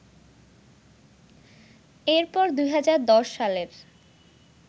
এরপর ২০১০ সালের